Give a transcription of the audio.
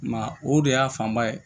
I m'a ye o de y'a fanba ye